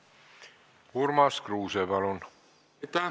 Urmas Kruuse, palun!